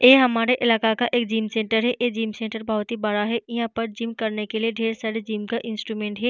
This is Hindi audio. यह हमारे इलाका का एक जिम सेंटर है। ए जिम सेंटर बोहोत ही बड़ा है। यहाँ पर जिम करने के लिए ढेर सारे जिम का इंस्ट्रूमेंट है।